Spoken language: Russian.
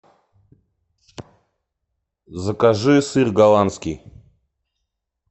закажи сыр голландский